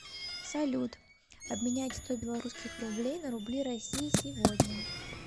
салют обменять сто белорусских рублей на рубли россии сегодня